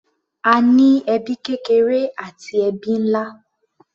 A ní ẹbí kékeré àti ẹbí nlá.